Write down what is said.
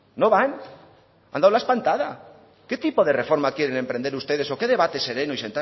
no van han dado la espantada qué tipo de reforma quieren emprender ustedes o qué debate sereno y